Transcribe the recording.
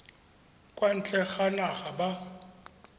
kwa ntle ga naga ba